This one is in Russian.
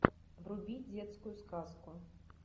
вруби детскую сказку